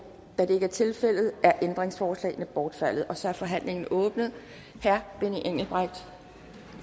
da det ikke er tilfældet er ændringsforslagene bortfaldet så er forhandlingen åbnet herre benny engelbrecht